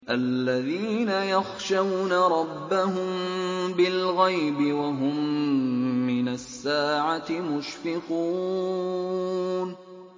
الَّذِينَ يَخْشَوْنَ رَبَّهُم بِالْغَيْبِ وَهُم مِّنَ السَّاعَةِ مُشْفِقُونَ